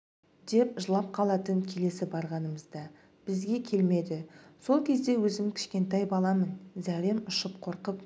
деп жылап қалатын келесі барғанымызда бізге келмеді сол кезде өзім кішкентай баламын зәрем ұшып қорқып